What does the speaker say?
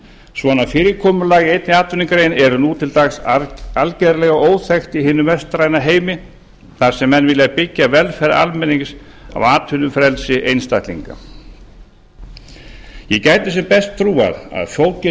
svona fyrirkomulag í einni atvinnugrein er nú til dags algjörlega óþekkt í hinum vestræna heimi þar sem menn vilja byggja velferð almennings á atvinnufrelsi einstaklinga ég gæti sem best trúað að fógetinn